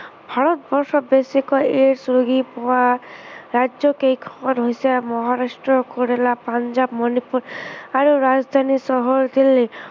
ভাৰতবৰ্ষত বেছিকৈ AIDS ৰোগী পোৱা ৰাজ্য় কেইখন হৈছে মহাৰাষ্ট্ৰ, কেৰেলা, পাঞ্জাৱ মনিপুৰ আৰু ৰাজধানী চহৰ দিল্লী।